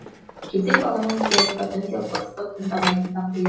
кейде бағана неге айтпадың деп ұрсып тыңдамайтын да қоятын